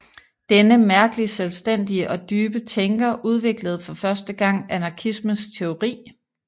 Denne mærkelig selvstændige og dybe tænker udviklede for første gang anarkismens teori